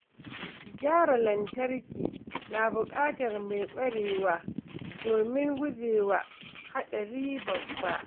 Gyara lantarki na buƙatar mai ƙwarewa domin gujewa haɗari babba.